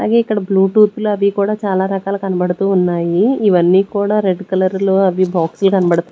అలాగే ఇక్కడ బ్లూటూత్ లు అవి కూడా చాలా రకాలు కనబడుతూ ఉన్నాయి ఇవ్వనీ కూడా రెడ్ కలర్ లో అవి బాక్సులు కనబడుతూ--